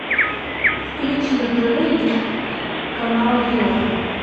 включи на тв канал ю